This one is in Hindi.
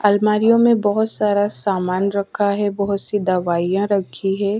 अलमारियों में बहोत सारा सामान रखा है बहोत सी दवाईयां रखी है।